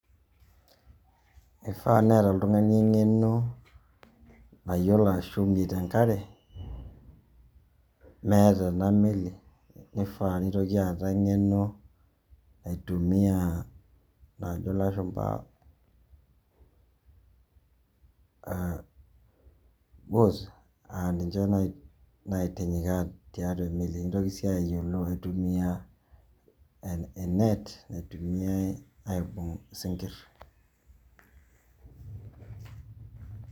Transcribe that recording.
Ifaa neeta oltung'ani eng'eno nayiolo ashomie tenkare, meeta enameli. Nifaa nitoki aata eng'eno naitumia naajo lashumpa wos, ah ninche naitinyikaa tiatua emeli. Nitoki si ayiolo aitumia enet, naitumiai aibung' isinkirr.